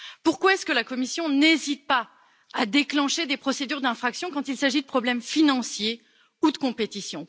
Pourquoi la Commission n'hésite t elle pas à déclencher des procédures d'infraction quand il s'agit de problèmes financiers ou de compétition?